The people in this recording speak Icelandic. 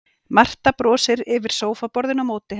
Marta brosir yfir sófaborðinu á móti henni.